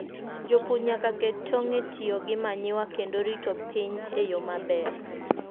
Jopur nyaka ket tong' e tiyo gi manyiwa kendo rito piny e yo maber.